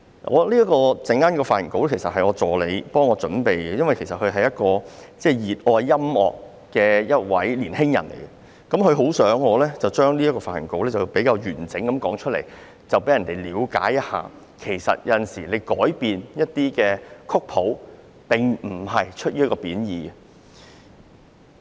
我的發言稿是我的助理為我準備的，他是一個熱愛音樂的年輕人，很想我將這篇發言稿完整地讀出，讓人了解到其實有時改變曲譜，並非出於貶意。